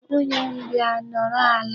Nwunye m, bịa nọrọ ala.